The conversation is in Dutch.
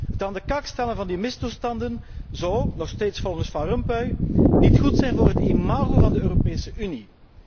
Het aan de kaak stellen van die misstanden zou nog steeds volgens Van Rompuy niet goed zijn voor het imago van de Europese Unie.